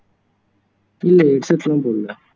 இல்ல headset லாம் போடல